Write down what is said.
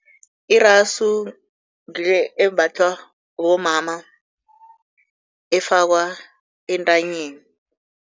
Irasu ngile embathwa bomama, efakwa entanyeni.